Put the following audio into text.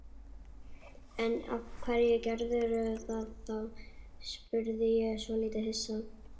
En af hverju gerðirðu það þá? spurði ég svolítið hissa.